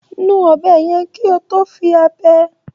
Nu ọ̀bẹ yẹn kí o tó fi ábẹ́.